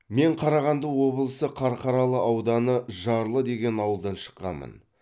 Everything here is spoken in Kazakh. мен қарағанды облысы қарқаралы ауданы жарлы деген ауылдан шыққанмын